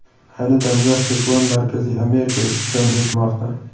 Ayni damda siklon Markaziy Amerika ustidan o‘tmoqda.